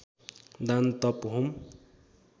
दान तप होम